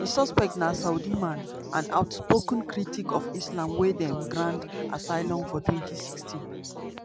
di suspect na saudi man and outspoken critic of islam wey dem grant asylum for 2016.